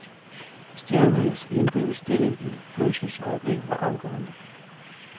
Stjernernes indbyrdes stilling i fødsels øjeblikket var afgørende.